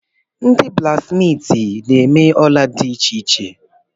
Ndị blaksmiiti na-eme ola dị iche iche.